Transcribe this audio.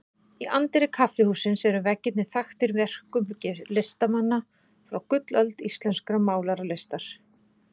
Í anddyri kaffihússins eru veggirnir þaktir verkum listamanna frá gullöld íslenskrar málaralistar.